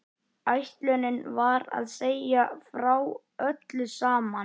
Ætlunin var að segja frá öllu saman.